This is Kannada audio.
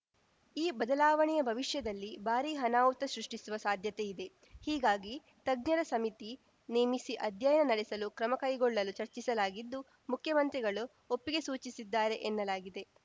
ಈ ಬದಲಾವಣೆಯ ಭವಿಷ್ಯದಲ್ಲಿ ಭಾರೀ ಅನಾಹುತ ಸೃಷ್ಟಿಸುವ ಸಾಧ್ಯತೆ ಇದೆ ಹೀಗಾಗಿ ತಜ್ಞರ ಸಮಿತಿ ನೇಮಿಸಿ ಅಧ್ಯಯನ ನಡೆಸಲು ಕ್ರಮ ಕೈಗೊಳ್ಳಲು ಚರ್ಚಿಸಲಾಗಿದ್ದು ಮುಖ್ಯಮಂತ್ರಿಗಳು ಒಪ್ಪಿಗೆ ಸೂಚಿಸಿದ್ದಾರೆ ಎನ್ನಲಾಗಿದೆ